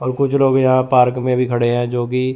और कुछ लोग यहां पार्क में भी खड़े हैं जो की--